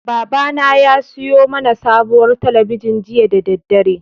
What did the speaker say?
Babana ya siyo mana sabuwar talabijin jiya da daddare.